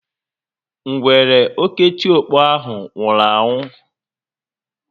Ngwere oketiọkpọ ahụ nwụrụ anwụ